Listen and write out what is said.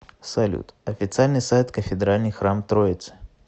салют официальный сайт кафедральный храм троицы